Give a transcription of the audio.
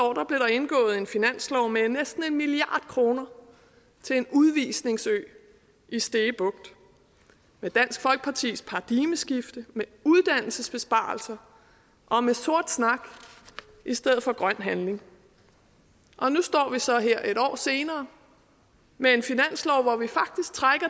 indgået en finanslov med næsten en milliard kroner til en udvisningsø i stege bugt med dansk folkepartis paradigmeskift med uddannelsesbesparelser og med sort snak i stedet for grøn handling nu står vi så her en år senere med en finanslov hvor vi faktisk trækker